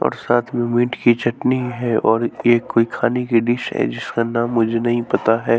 और साथ में मिंट की चटनी है और ये कोई खाने की डिश है जिसका नाम मुझे नहीं पता है।